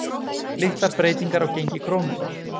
Litlar breytingar á gengi krónunnar